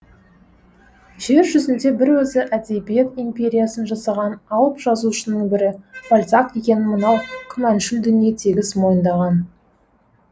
жер жүзінде бір өзі әдебиет империясын жасаған алып жазушының бірі бальзак екенін мынау күмәншіл дүние тегіс мойындаған